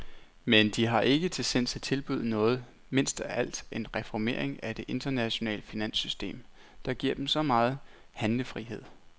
Men de har ikke til sinds at tilbyde noget, mindst af alt en reformering af det internationale finanssystem, der giver dem så megen handlefrihed.